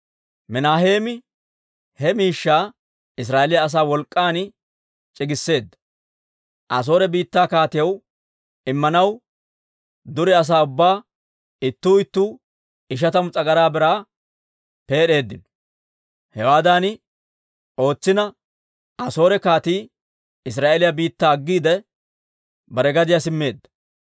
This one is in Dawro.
Minaaheemi he miishshaa Israa'eeliyaa asaa wolk'k'an c'igisseedda; Asoore biittaa kaatiyaw Immanaw dure asaa ubbay ittuu ittuu ishatamu s'agaraa biraa peed'eeddino. Hewaadan ootsina, Asoore kaatii Israa'eeliyaa biittaa aggiide, bare gadiyaa simmeedda.